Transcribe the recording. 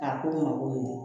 A ko ma koyi